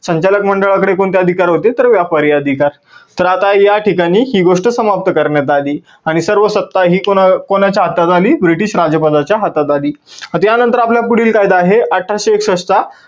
संचालक मंडळाकडे कोणते अधिकार होते तर व्यापारी अधिकार. तर आता या ठिकाणी ही गोष्ट समाप्त करण्यात आली आणि सर्व सत्ता ही कोणाच्या हातात आली? ब्रिटीश राजपदाच्या हातात आली. आता या नंतर आपला पुढील कायदा आहे अठराशे एकसष्ठ चा